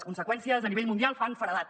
les conseqüències a nivell mundial fan feredat